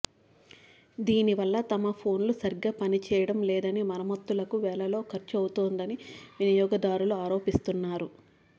దీని వల్ల తమ ఫోన్లు సరిగ్గా పనిచేయడం లేదని మరమ్మతులకు వేలల్లో ఖర్చవుతోందని వినియోగదారులు ఆరోపిస్తున్నారు